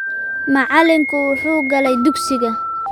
Macalinku wuxuu galay dugsiga